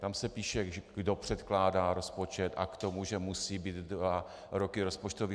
Tam se píše - kdo předkládá rozpočet a k tomu že musí být dva roky rozpočtové.